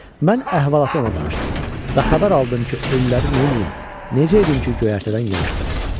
Mən əhvalatı ona danışdım və xəbər aldım ki, ölüləri neyləyim, necə edim ki, göyərtədən yığışdırım?